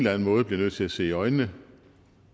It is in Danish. anden måde bliver nødt til at se i øjnene